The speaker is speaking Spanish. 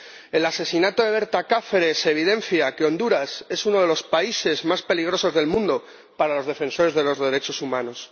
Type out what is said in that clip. El asesinato de Berta Cáceres evidencia que Honduras es uno de los países más peligrosos del mundo para los defensores de los derechos humanos.